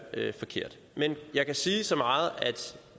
forkert men jeg kan sige så meget at